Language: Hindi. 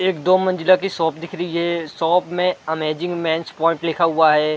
एक दो मंज़िला की शॉप दिख रही है शॉप में अमेजिंग मेन्स पॉइंट लिखा हुआ है।